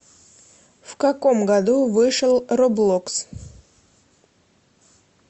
в каком году вышел роблокс